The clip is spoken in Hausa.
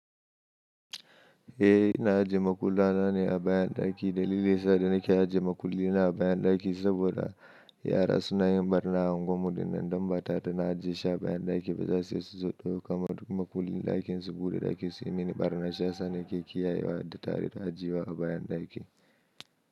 Eh ina ajiye makulla na ne a bayan ɗaki. Dalili yasa da nake ajiye makullin na a bayan ɗaki saboda yara suna yin ɓarna a unguwar mu, dinnan idan mata ta na ajiye shi a bayan ɗaki ba za su iya su zo ɗauka ba. Duk makullin ɗakin su buɗe ɗaki suyi mini ɓarna sha sa na ke kiyaye wa da tare da ajiye wa a bayan ɗaki.